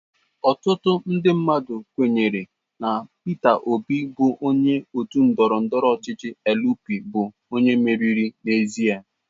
Ọtụtụ ndị mmadụ kwenyere na Peter Obi bụ onye otu ndọrọndọrọ ọchịchị Elu Pi bụ onye meriri n'ezie.